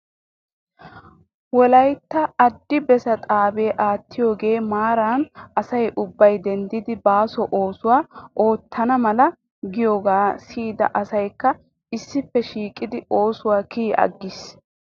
Wolaytta adi bessaa xaabee aatidoogaa maaran asay ubbay denddidi baaso oosuwaa oottana mala giidoogaa siyida asykka issippe shiiqidi oosuwaw kiyi aggis.